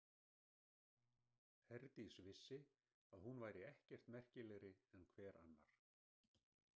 Herdís vissi að hún væri ekkert merkilegri en hver annar.